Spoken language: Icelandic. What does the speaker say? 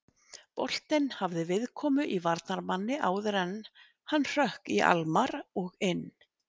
Boltinn hafði viðkomu í varnarmanni áður en hann hrökk í Almarr og inn.